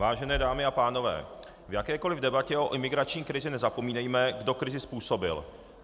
Vážené dámy a pánové, v jakékoli debatě o imigrační krizi nezapomínejme, kdo krizi způsobil.